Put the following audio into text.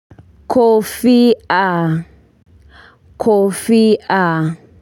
Kofia kofia.